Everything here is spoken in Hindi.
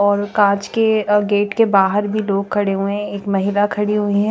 और काच के अ गेट के बाहर भी लोग खड़े हुए है एक महिला खड़ी हुई है।